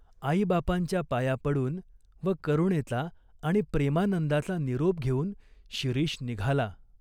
आईबापांच्या पाया पडून व करुणेचा आणि प्रेमानंदाचा निरोप घेऊन शिरीष निघाला.